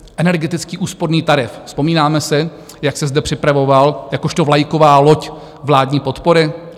Energetický úsporný tarif, vzpomínáme si, jak se zde připravoval jakožto vlajková loď vládní podpory?